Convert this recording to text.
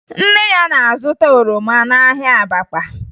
Nne ya na-azụta oroma n'ahịa Abakpa